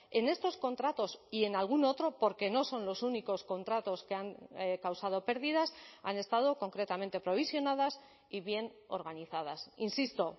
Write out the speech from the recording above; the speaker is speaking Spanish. en estos contratos y en algún otro porque no son los únicos contratos que han causado pérdidas han estado concretamente provisionadas y bien organizadas insisto